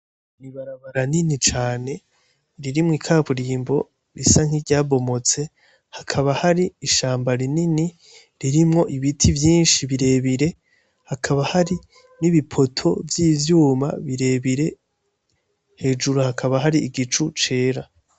Ni ibarabara rinini cane ririmwo ikaburimbo risa nk'iryabomotse, hakaba hari ishamba rinini ririmwo ibiti vyinshi birebire, hakaba hari ibi n'ibipoto vy'ivyuma birebire. Hejuru hakaba hari igicu cera.